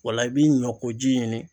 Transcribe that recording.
O la i b'i ɲɔkoji ɲini